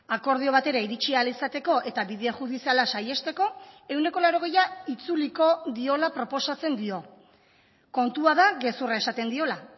akordio batera iritsi ahal izateko eta bide judiziala saihesteko ehuneko laurogeia itzuliko diola proposatzen dio kontua da gezurra esaten diola